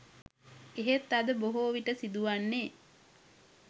එහෙත් අද බොහෝ විට සිදු වන්නේ